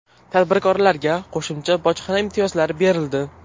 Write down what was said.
Tadbirkorlarga qo‘shimcha bojxona imtiyozlari berildi.